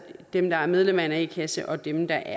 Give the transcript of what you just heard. dem der er medlem af en a kasse og dem der